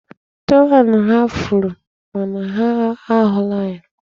Tọwel ha furu, mana ha ahụla ya.